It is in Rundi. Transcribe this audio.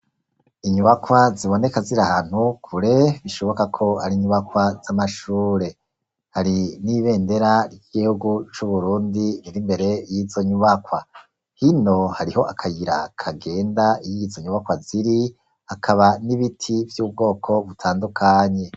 Inyubakwa ziboneka ziri ahantu kure bishoboka ko ari inyubakwa z'amashure, hari n'ibendera ry'igihugu c'u Burundi iri imbere y'izo nyubakwa, hino hariho akayira kagenda iyo izi nyubakwa ziri hakaba n'ibiti vy'ubwoko butandukanye.